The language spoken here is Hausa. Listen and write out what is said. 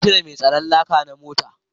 Na cire mai tsaron laka na mota